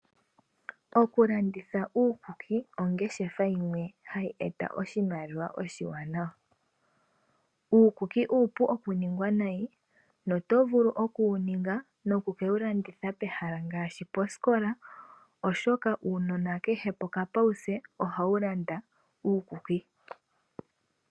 Okulanditha uukuki ongeshefa yimwe hayi eta oshimaliwa oshiwanawa. Uukuki uupu okuningwa nayi no tovulu okuwuninga noku ke wulanditha pehala ngaashi poskola oshoka uunona kehe pokafudhopo ohawu landa uukuki.